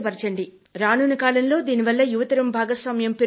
రానున్న కాలంలో దీనివల్ల యువతరం భాగస్వామ్యం పెరుగుతుంది